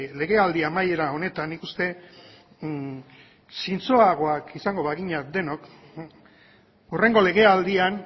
legealdi amaiera honetan nik uste zintzoagoak izango bagina denok hurrengo legealdian